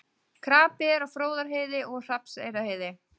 Krapi er á Fróðárheiði og Hrafnseyrarheiði